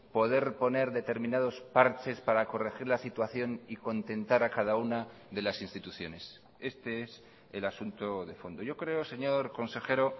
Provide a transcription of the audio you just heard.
poder poner determinados parches para corregir la situación y contentar a cada una de las instituciones este es el asunto de fondo yo creo señor consejero